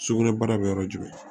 Sugunɛbara bɛ yɔrɔ jumɛn